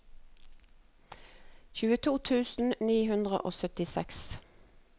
tjueto tusen ni hundre og syttiseks